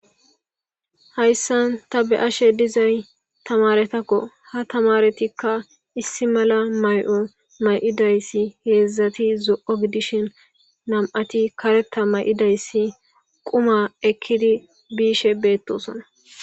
Hayssan ta be'ashe dizay tamaaretako ; ha tamaaretikka issi mala may'o may'idaysi hedzdzati zo'o gidishin nam'ati kareta may'idaysi quma ekkidi bishe beetosona.